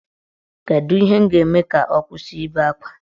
Kedu ihe m ga-eme ka ọ kwụsị ibe akwa?